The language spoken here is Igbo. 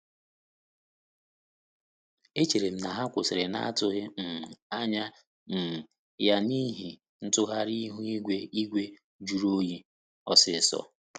Echere m na ha kwụsịrị na atụghi um anya um ya n'ihi ntụgharị ihu igwe igwe jụrụ oyi ọsịsọ